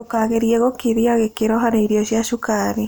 Ndũkagerĩa gĩkĩrĩa gĩkĩro harĩ irio cia cũkarĩ